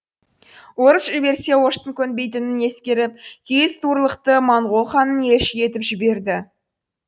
орыс жіберсе оштың көнбейтінін ескеріп киіз туырлықты моңғол ханын елші етіп жіберді